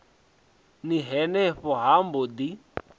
ni henefho ha mbo ḓi